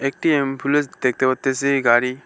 একটি এমফুলেন্স দেখতে পারতাসি গাড়ি।